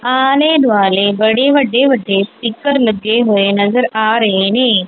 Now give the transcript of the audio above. ਆਲੇ ਦੁਆਲੇ ਬੜੇ ਵੱਡੇ ਵੱਡੇ ਸਪੀਕਰ ਲੱਗੇ ਹੋਏ ਨਜ਼ਰ ਆ ਰਹੇ ਨੇ।